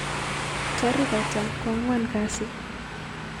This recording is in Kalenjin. Tarik ata koanwan kasii